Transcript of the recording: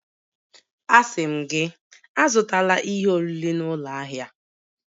Asị m gị, Azụtala ihe oriri n'ụlọ ahịa!